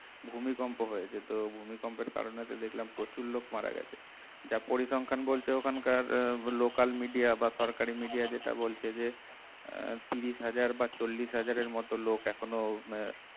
ভূমিকম্প হয়েছে তো ভূমিকম্পের কারণে দেখলাম যে প্রচুর লোক মারা গেছে যার পরিসংখ্যান বলছে ওইখানকার local media বা সরকারি media যেটা বলছে যে তিরিশ হাজার বা চল্লিশ হাজারের মতো লোক এখনো